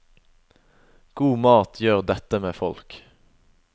God mat gjør dette med folk.